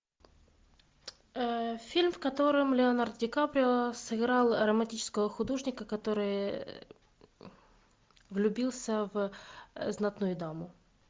фильм в котором леонардо ди каприо сыграл романтического художника который влюбился в знатную даму